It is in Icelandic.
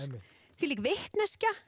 þvílík vitneskja